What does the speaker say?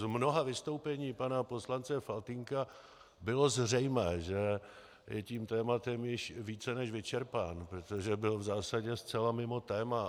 Z mnoha vystoupení pana poslance Faltýnka bylo zřejmé, že je tím tématem více než vyčerpán, protože byl v zásadě zcela mimo téma.